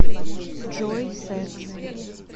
джой секс